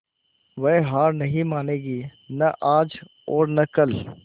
वह हार नहीं मानेगी न आज और न कल